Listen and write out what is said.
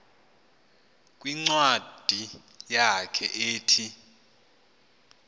kwincwadi yakhe ethi